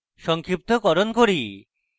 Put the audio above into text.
সংক্ষিপ্তকরণ করি